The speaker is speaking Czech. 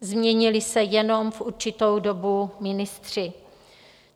Změnili se jenom v určitou dobu ministři.